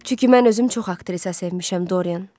Çünki mən özüm çox aktrisa sevmişəm Dorian.